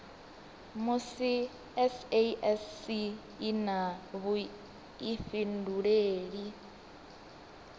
musi sasc i na vhuifhinduleli